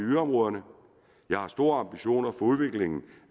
yderområderne jeg har store ambitioner udviklingen